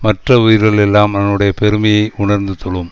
மற்ற உயிர்கள் எல்லாம் அவனுடைய பெருமையை உணர்ந்து தொழும்